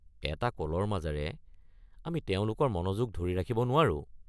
এটা কলৰ মাজেৰে আমি তেওঁলোকৰ মনোযোগ ধৰি ৰাখিব নোৱাৰোঁ।